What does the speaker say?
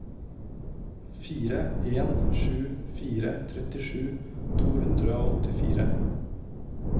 fire en sju fire trettisju to hundre og åttifire